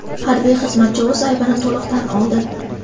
Harbiy xizmatchi o‘z aybini to‘liq tan oldi.